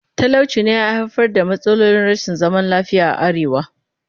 Talauci ne ya haifar da matsalolin rashin zaman lafiya a arewa